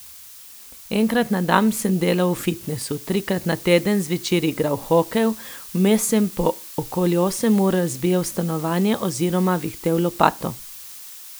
Enkrat na dan sem delal v fitnesu, trikrat na teden zvečer igral hokej, vmes sem po okoli osem ur razbijal stanovanje oziroma vihtel lopato.